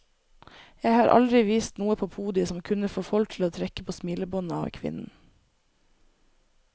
Jeg har aldri vist noe på podiet som kunne få folk til å trekke på smilebåndet av kvinnen.